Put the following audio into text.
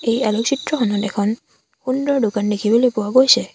এই আলোক চিত্ৰখনত এখন সুন্দৰ দোকান দেখিবলৈ পোৱা গৈছে।